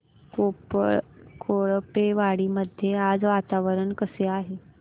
कोळपेवाडी मध्ये आज वातावरण कसे आहे